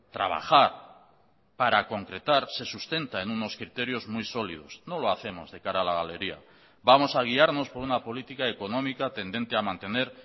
trabajar para concretar se sustenta en unos criterios muy sólidos no lo hacemos de cara a la galería vamos a guiarnos por una política económica tendente a mantener